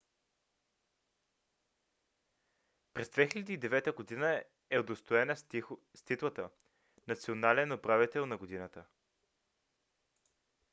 през 2009 г. е удостоена с титлата национален управител на годината